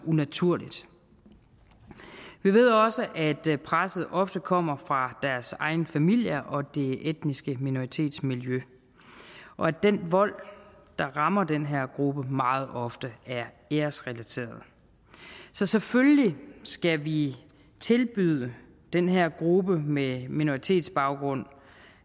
unaturligt vi ved også at presset ofte kommer fra deres egne familier og det etniske minoritetsmiljø og at den vold der rammer den her gruppe meget ofte er æresrelateret så selvfølgelig skal vi tilbyde den her gruppe med minoritetsbaggrund